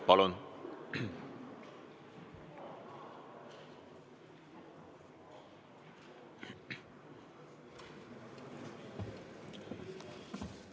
Palun!